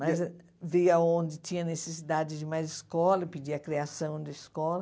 Mas via onde tinha necessidade de mais escola, pedia a criação de escola.